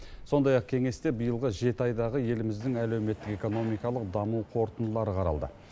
сондай ақ кеңесте биылғы жеті айдағы еліміздің әлеуметтік экономикалық даму қорытындылары қаралды